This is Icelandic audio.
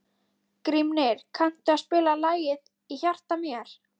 Grímnir, kanntu að spila lagið „Í hjarta mér“?